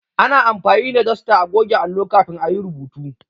Ana amfani da dasta a goge allo kafin a yi rubutu akai